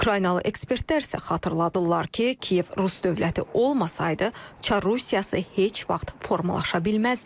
Ukraynalı ekspertlər isə xatırladırlar ki, Kiyev Rus dövləti olmasaydı, Çar Rusiyası heç vaxt formalaşa bilməzdi.